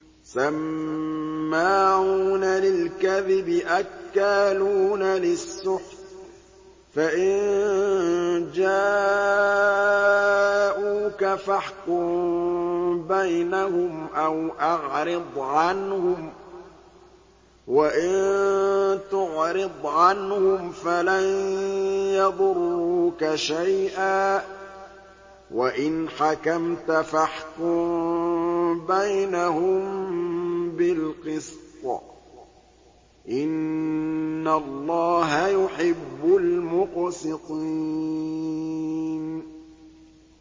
سَمَّاعُونَ لِلْكَذِبِ أَكَّالُونَ لِلسُّحْتِ ۚ فَإِن جَاءُوكَ فَاحْكُم بَيْنَهُمْ أَوْ أَعْرِضْ عَنْهُمْ ۖ وَإِن تُعْرِضْ عَنْهُمْ فَلَن يَضُرُّوكَ شَيْئًا ۖ وَإِنْ حَكَمْتَ فَاحْكُم بَيْنَهُم بِالْقِسْطِ ۚ إِنَّ اللَّهَ يُحِبُّ الْمُقْسِطِينَ